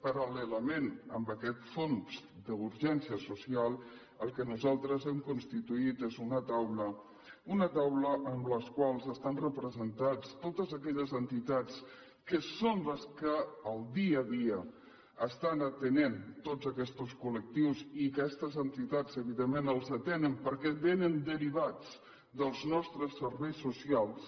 paral·lelament a aquest fons d’urgència social el que nosaltres hem constituït és una taula una taula en la qual estan representades totes aquelles entitats que són les que el dia a dia atenen tots aquests col·lectius i aquestes entitats evidentment els atenen perquè vénen derivats dels nostres serveis socials